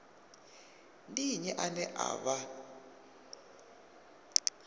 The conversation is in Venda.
ndi nnyi ane a vha